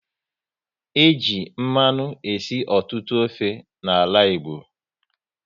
E ji mmanụ esi ọtụtụ ofe n'ala Igbo